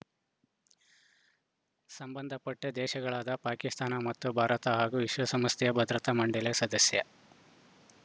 ಸಂಬಂಧಪಟ್ಟದೇಶಗಳಾದ ಪಾಕಿಸ್ತಾನ ಮತ್ತು ಭಾರತ ಹಾಗೂ ವಿಶ್ವಸಂಸ್ಥೆಯ ಭದ್ರತಾ ಮಂಡಳಿ ಸದಸ್ಯ